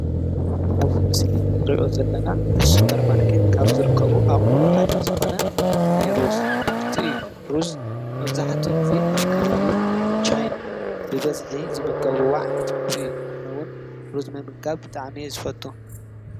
እብዚ ምስሊ ንሪኦ ዘለና አብ ሱፐር ማርኬት ካብ ዝርከቡ አቁሑ ሓደ ዝኮነ ናይ ሩዝ ምህርቲ እዩ። ሩዝ መብዛሕትኡ ግዘ አብ ከባቢ ቻይና ብበዝሒ ዝምገብዎ ዓይነት ምግቢ እዩ። አነ እውን ሩዝ ምምጋብ ብጣዕሚ እየ ዝፈቱ ።